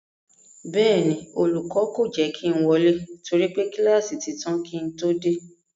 Bẹ́ẹ̀ ni, olùkọ́ kò jẹ́ kí ń wọlé torí pé kíláàsì ti tán kí ń todé,